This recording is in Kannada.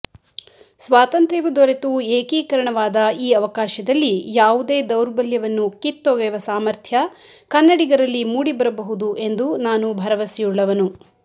ಸ್ವಾತಂತ್ರ್ತವು ದೊರೆತು ಏಕೀಕರಣವಾದ ಈ ಅವಕಾಶದಲ್ಲಿ ಯಾವುದೇ ದೌರ್ಬಲ್ಯವನ್ನು ಕಿತ್ತೊಗೆವ ಸಾಮರ್ಥ್ಯ ಕನ್ನಡಿಗರಲ್ಲಿ ಮೂಡಿಬರಬಹುದು ಎಂದು ನಾನು ಭರವಸೆಯುಳ್ಳವನು